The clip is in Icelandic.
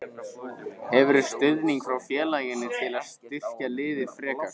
Hefurðu stuðning frá félaginu til að styrkja liðið frekar?